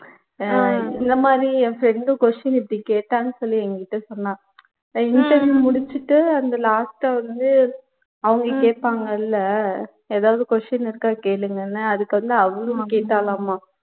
அஹ் இந்த மாதிரி என் friend question இப்படி கேட்டான்னு சொல்லி எங்கிட்ட சொன்னா interview முடிச்சுட்டு அந்த last ஆ வந்துட்டு அவங்க கேப்பாங்கள்ல எதாவது question இருக்கா கேளுங்கன்னு அதுக்கு வந்து அவ்வளவு கேட்டாலாமாம்